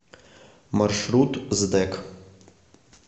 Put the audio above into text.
маршрут сдэк